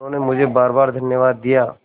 उन्होंने मुझे बारबार धन्यवाद दिया